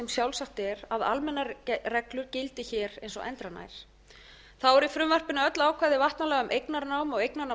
sjálfsagt er að almennar reglur gildi hér eins og endranær þá er í frumvarpinu öll ákvæði vatnalaga um eignarnám